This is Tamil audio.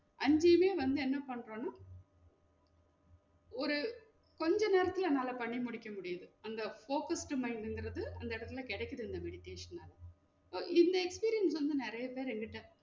அஞ்சுமே வந்து என்ன பண்றோம்னா ஒரு கொஞ்ச நேரத்துல என்னால பண்ணி முடிக்க முடியுது அந்த focused mind ங்குறது அந்த எடத்துல கெடைக்குது இந்த meditation னால இந்த experience வந்து நெறைய பேரு என்கிட்ட